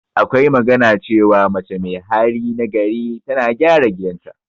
Akwa magana cewa, mace mai hali na gari tana gyara gidan ta.